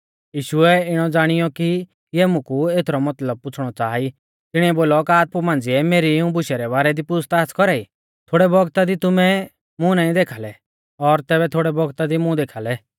यीशुऐ इणौ ज़ाणीऔ कि इऐ मुकु एथरौ मतलब पुछ़णौ च़ाहा ई तिणीऐ बोलौ का तुमै आपु मांझ़िऐ मेरी इऊं बुशु रै बारै दी पूछ़ताछ़ कौरा ई थोड़ै बौगता दी तुमै मुं नाईं देखाल़ै और तैबै थोड़ै बौगता दी मुं देखाल़ै